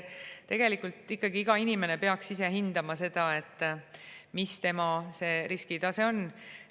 Tegelikult peaks iga inimene ikkagi ise hindama, missugune tema riskitase on.